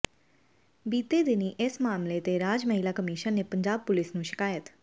ਬੀਤੇ ਦਿਨੀਂ ਇਸ ਮਾਮਲੇ ਤੇ ਰਾਜ ਮਹਿਲਾ ਕਮਿਸ਼ਨ ਨੇ ਪੰਜਾਬ ਪੁਲਿਸ ਨੂੰ ਸ਼ਿਕਾਇਤ